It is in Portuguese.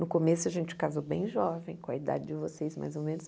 No começo a gente casou bem jovem, com a idade de vocês mais ou menos.